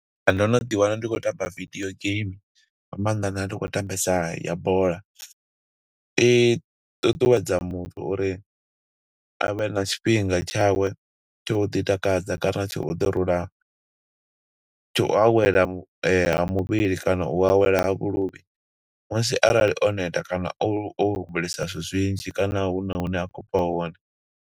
Ndo no ḓi wana ndi khou tamba video game, nga maanḓa nda ndi khou tambesa ya bola. I ṱuṱuwedza muthu uri avhe na tshifhinga tshawe, tsho u ḓi takadza kana tsho u ḓi rula. tsha u awela ha muvhili kana u awela ha vhuluvhi. Musi arali o neta kana o humbulesa zwithu zwinzhi, kana huna hune a khou bva hone.